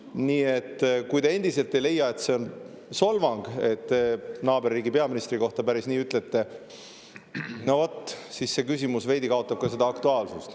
Nii et kui te endiselt ei leia, et see teie öeldu naaberriigi peaministri kohta on solvang, no vot, siis see küsimus veidi kaotab ka aktuaalsust.